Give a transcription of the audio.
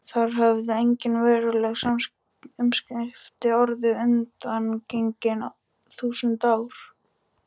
Þar höfðu engin veruleg umskipti orðið undangengin þúsund ár.